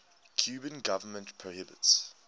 cuban government prohibits